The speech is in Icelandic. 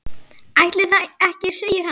Ætli það ekki segir hann.